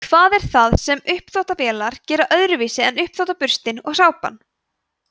hvað er það sem uppþvottavélin gerir öðruvísi en uppþvottaburstinn og sápan